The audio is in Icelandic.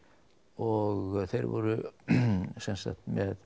og þeir voru sem sagt